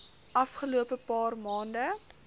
afgelope paar maande